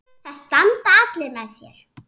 Það standa allir með þér.